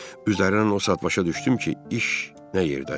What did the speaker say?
Üzərindən o saat başa düşdüm ki, iş nə yerdədir.